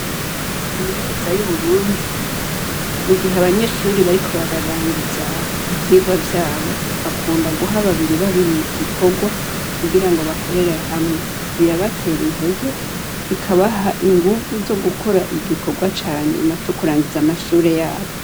Kaminuza y'Uburundi mu gihe abanyeshure bariko bararangiza ivyirwa vyabo bakunda guha babiri babiri igikorwa kugirango bakorere hamwe. Birabatera intege bikabaha inguvu zo gukora igikorwa ca nyuma co kurangiza amashure yabo.